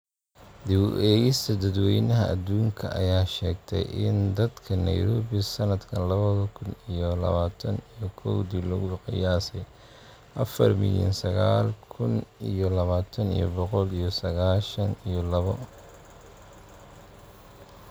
Dib u eegista dadweynaha adduunka ayaa sheegtay in dadka Nairobi sanadka laba kun iyo labatan iyo kowdi lagu qiyaasay afar milyan sagalka kun iyo labatan iyo boqol iyo sagashan iyo labo.